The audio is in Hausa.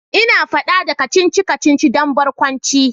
Ina fada da kacici-kacici da barkwanci